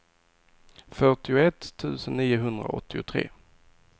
fyrtioett tusen niohundraåttiotre